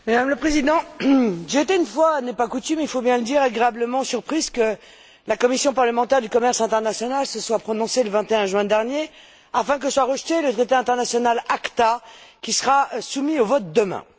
Madame la Présidente, j'ai été, une fois n'est pas coutume il faut bien le dire, agréablement surprise que la commission parlementaire du commerce international se soit prononcée le 21 juin dernier afin que soit rejeté le traité international ACTA, qui sera soumis au vote demain.